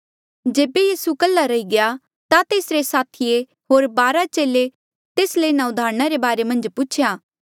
जेबे यीसू कल्हा रही गया ता तेसरे साथिये होर बारा चेले तेस ले इन्हा उदाहरणा रे बारे मन्झ पूछेया